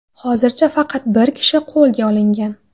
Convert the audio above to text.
Hozircha faqat bir kishi qo‘lga olingan.